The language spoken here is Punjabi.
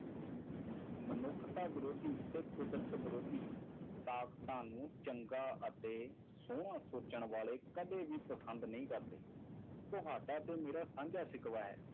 ਮਨੁੱਖਤਾ ਵਿਰੋਧੀ ਇੱਕ ਕੁਦਰਤ ਵਿਰੋਧੀ ਤਾਕਤਾਂ ਨੂੰ ਚੰਗਾ ਅਤੇ ਸੋਹਣਾ ਸੋਚਣ ਵਾਲੇ ਕਦੇ ਵੀ ਪਾਖੰਡ ਨਹੀਂ ਕਰਦੇ, ਤੁਹਾਡਾ ਤੇ ਮੇਰਾ ਸਾਂਝਾ ਸਿਕਵਾ ਹੈ,